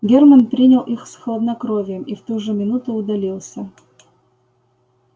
германн принял их с хладнокровием и в ту же минуту удалился